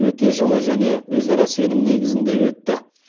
өте жылы және өзара сенім негізінде өтті